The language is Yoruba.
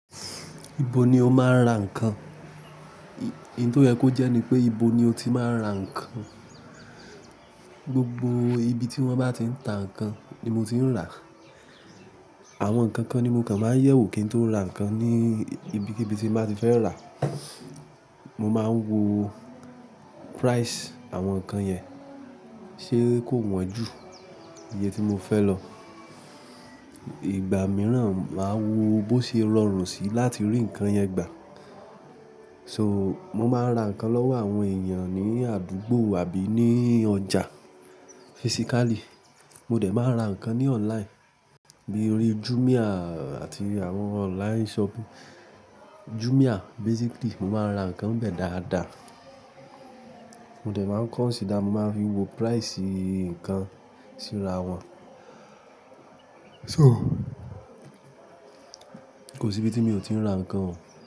Ibo ni o máa ń ra nǹkan? Ohun tó yẹ kó jẹ́ ni pé, ibo ni o ti máa ń ra nǹkan. Gbogbo ibi tí wọ́n bá ti ń ta nǹkan ni mo ti ń rà. Àwọn nǹkan kan ni mo kàn máa ń yẹ̀wò kí n tó ra nǹkan ní ibikíbi tí mo bá ti fẹ́ rà. Mo máa ń wo price àwọn nǹkan yẹn, ṣe kó wọ́n ju iye tí mo fẹ́ lọ. Ìgbà mìíràn, màá wo bó ṣe é rọrùn síi láti rí nǹkan yẹn gbà. So, mo máa ń ra nǹkan lọ́wọ́ àwọn èèyàn ní àdúgbò àbí ní ọjà physically. Mo dẹ̀ máa ra nǹkan ní online bíi orí Jumia àti àwọn online shop. Jumia basically, mo máa ń ra nǹkan bẹ́ẹ̀ dáadáa. Mo dẹ̀ máa ń consider mo máa fi wo price nǹkan sì ra wọ́n. To, kò sí ibi tí mi ò ti rà nǹkan wò.